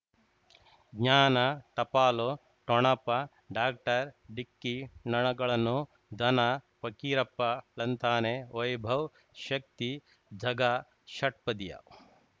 ಜ್ಞಾನ ಟಪಾಲು ಠೊಣಪ ಡಾಕ್ಟರ್ ಢಿಕ್ಕಿ ಣಗಳನು ಧನ ಫಕೀರಪ್ಪ ಳಂತಾನೆ ವೈಭವ್ ಶಕ್ತಿ ಝಗಾ ಷಟ್ಪದಿಯ